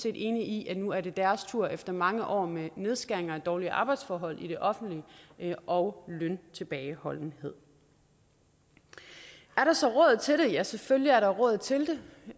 er enige i at nu er det deres tur efter mange år med nedskæringer og dårlige arbejdsforhold i det offentlige og med løntilbageholdenhed er der så råd til det ja selvfølgelig er der råd til